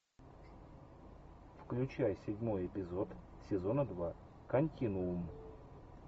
включай седьмой эпизод сезона два континуум